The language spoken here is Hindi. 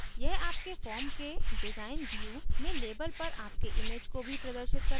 यह आपके form के design view में label पर आपके image को भी प्रदर्शित करता है